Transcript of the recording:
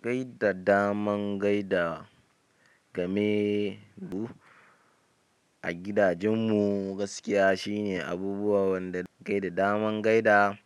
Kai da daman gaida game bu a gidan mu gaskiya shine abubuwa wanda ke gaida daman gaida